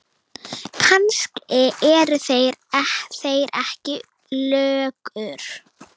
Kannski eru þeir ekki löggur.